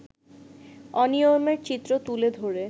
অনিয়মের চিত্র তুলে ধরে